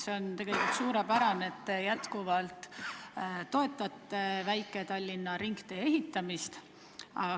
See on tegelikult suurepärane, et te endiselt toetate Tallinna väikese ringtee ehitamist.